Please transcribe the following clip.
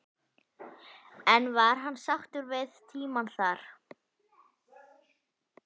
En var hann sáttur við tímann þar?